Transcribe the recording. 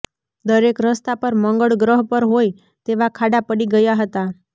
દરેક રસ્તા પર મંગળ ગ્રહ પર હોય તેવા ખાડા પડી ગયા હતા